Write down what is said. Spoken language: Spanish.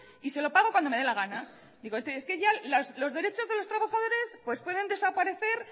y se lo pago cuando me da la gano es que ya los derechos de los trabajadores pues pueden desaparecer